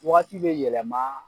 Wagati bi yɛlɛma